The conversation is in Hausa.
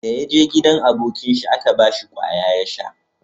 Da ya je gidan abokin shi a Ka bashi kwaya ya sha